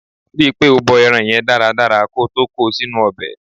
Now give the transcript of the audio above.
Ri pé o bọ ẹran yẹn dáradára ko tó ko sínú ọbẹ̀.